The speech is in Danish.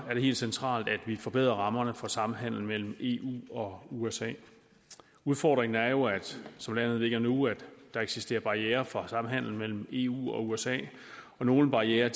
er det helt centralt at vi forbedrer rammerne for samhandel mellem eu og usa udfordringen er jo som landet ligger nu at der eksisterer barrierer for samhandel mellem eu og usa og nogle barrierer